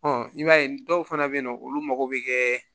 i b'a ye dɔw fana bɛ yen nɔ olu mago bɛ kɛ